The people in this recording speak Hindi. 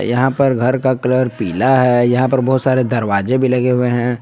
यहां पर घर का कलर पीला है यहां पर बहुत सारे दरवाजे भी लगे हुए हैं।